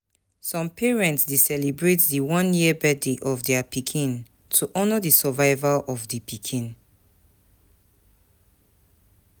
Some parents de celebrate di one year birthday of their pikin to honor the survival of di pikin